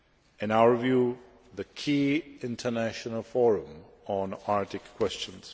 in our view, the key international forum on Arctic questions.